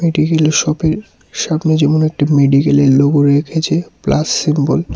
এটি হলো শপের সামনে যেমন একটি মেডিকেলের লোগো রেখেছে প্লাস সিম্বল ।